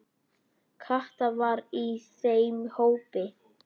Kata var í þeim hópi.